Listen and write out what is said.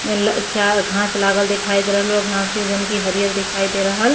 एला चार घाँस लागल दिखाई दे रहल बा। घाँस की जोन की हरियर दिखाई दे रहल --